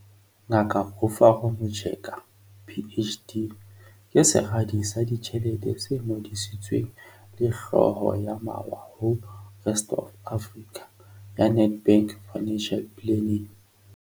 Ngaka Rufaro Mucheka, PhD, ke Seradi sa Ditjhelete se Ngodisitsweng le Hlooho ya Mawa ho Rest Of Africa ya Nedbank Financial Planning.